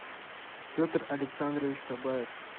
петр александрович кабаев